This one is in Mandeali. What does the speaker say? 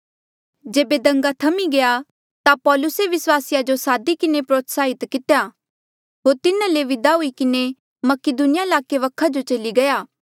जेबे दंगा थम्ही गया ता पौलुसे विस्वासिया जो सादी किन्हें प्रोत्साहित किया होर तिन्हा ले विदा हुई किन्हें मकीदुनिया ईलाके वखा जो चली गया